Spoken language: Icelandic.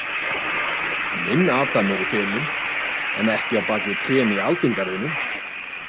Minn adam er í felum, en ekki á bak við trén í aldingarðinum.